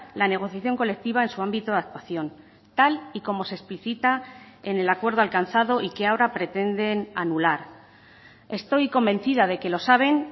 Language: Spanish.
la negociación colectiva en su ámbito de actuación tal y como se explicita en el acuerdo alcanzado y que ahora pretenden anular estoy convencida de que lo saben